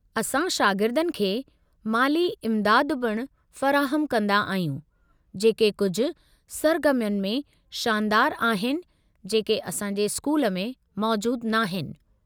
असां शागिर्दनि खे माली इम्दाद पिणु फ़राहमु कंदा आहियूं जेके कुझु सरगर्मियुनि में शानदारु आहिनि जेके असां जे स्कूल में मौजूदु नाहीनि।